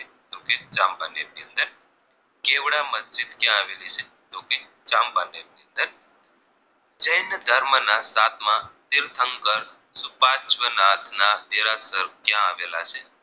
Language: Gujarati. ચાંપાનેર ની અંદર જેંન ધર્મ ના સાતમાં શીલ્પહંકર સુપાચ્વનાથ ના દેરાસર ક્યાં આવેલા છે